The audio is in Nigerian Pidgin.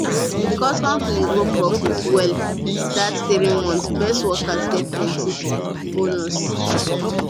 because company grow profit well that three months best workers get plenty bonus